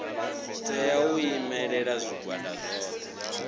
tea u imelela zwigwada zwothe